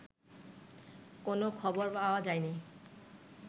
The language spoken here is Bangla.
কোনো খবর পাওয়া যায়নি